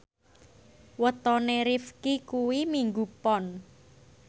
wetone Rifqi kuwi Minggu Pon